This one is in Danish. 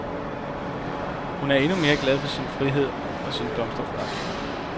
Hun er endnu mere glad for sin frihed og sin blomsterforretning.